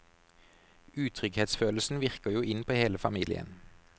Utrygghetsfølelsen virker jo inn på hele familien.